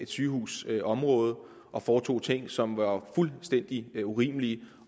sygehusområdet og foretog ting som var fuldstændig urimelige